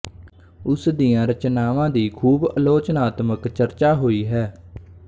ਉਸ ਦੀਆਂ ਰਚਨਾਵਾਂ ਦੀ ਖ਼ੂਬ ਆਲੋਚਨਾਤਮਕ ਚਰਚਾ ਹੋਈ ਹੈ